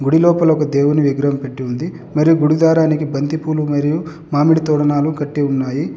గుడి లోపల ఒక దేవుని విగ్రహం పెట్టి ఉంది. మరియు గుడి ద్వారానికి బంతిపూలు మరియు మామిడి తోరణాలు కట్టి ఉన్నాయి.